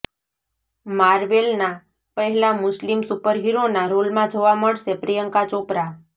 માર્વેલના પહેલા મુસ્લિમ સુપરહીરોના રોલમાં જોવા મળશે પ્રિયંકા ચોપરા